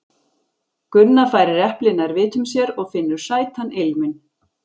Gunna færir eplið nær vitum sér og finnur sætan ilminn.